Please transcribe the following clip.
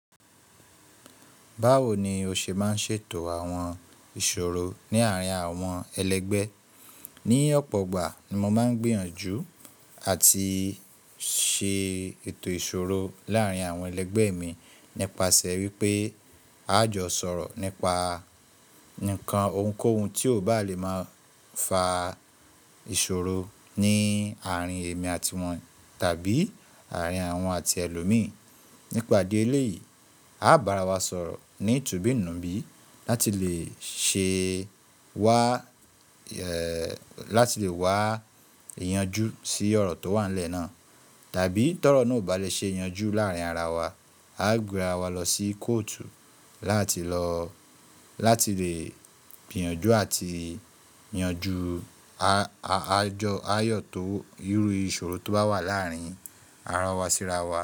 Báwo ni o ṣe máa ń ṣètò àwọn ìṣòro ní àárín àwọn ẹlẹgbẹ́? Ní ọ̀pọ̀ gbà ni mo máa ń gbìyànjú àti ṣe ètò ìṣòro láàárín àwọn ẹlẹgbẹ́ mi nípasẹ̀ wípé a jó sọ̀rọ̀ nípa ǹkan ohunkóhun tí ò bá lè máa fa ìṣòro ní àárín èmi àti wọn tàbí àárín awọn àti ẹlòmíì. Nípa idi èléyìí, a bára wa sọ̀rọ̀ ní tubì nubí láti lè wá yanjú sí ọ̀rọ̀ tó wà lẹ́ẹ̀ náà. Tàbí tọ́rọ̀ náà ò bá lè ṣe yanjú láàárín ara wa, a gbé ra wa lọ sí kóòtù láti lè gbìyànjú àti yanjú ayọ̀ tó, irú ìṣòro tó bá wà láàárín ara wa síra wa.